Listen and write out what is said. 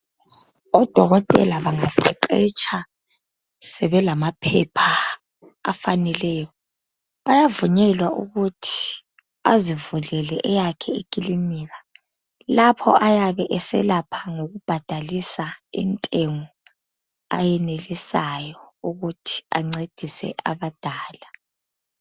Odokotela bangaqeqetsha, sebelamaphepha afaneleyo, bayavunyelwa ukuthi azivulele eyakhe ikilinika lapho ayabe eselapha ngokubhadalisa intengo ayenelisayo ukuthi ancedise abadala.